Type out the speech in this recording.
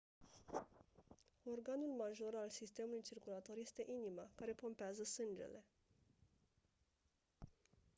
organul major al sistemului circulator este inima care pompează sângele